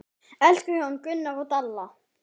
Elsku hjón, Gunnar og Dalla.